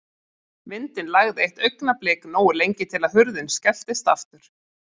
Vindinn lægði eitt augnablik, nógu lengi til að hurðin skelltist aftur.